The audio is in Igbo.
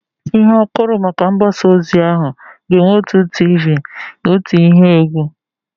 Ịhe akụrụ maka mgbasa ozi ahụ ga-enwe otu tiivii na ihe otu ihe égwú.